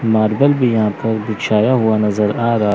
marble भी यहां पर बिछाया हुआ नजर आ रहा --